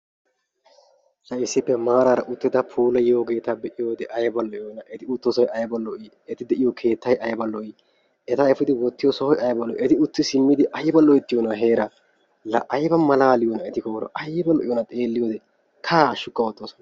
Ha issippe maarara uttida puulayyiyogeeta be'iyoode aybba lo''iyoona. eti uttoosay aybba lo''i, eti de'iyo keettay aybba lo''i! eta efidi wottiyo sohoy aybba lo'i, eti utti simmidi aybba loyttiyoona heeraa, la aybba malaaliyoona, aaybba loyttiyona xeeliyode eti heera kaaha hashshukka oottosona.